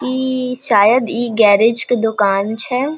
इ शायद इ गैरेज के दोकान छै।